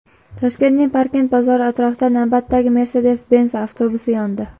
Toshkentning Parkent bozori atrofida navbatdagi Mercedes-Benz avtobusi yondi.